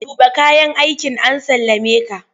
Tuɓe kayan aikin an sallameka!